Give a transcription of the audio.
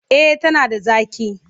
Eh tana da zaƙi.